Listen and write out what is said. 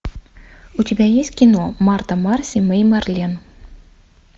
у тебя есть кино марта марси мэй марлен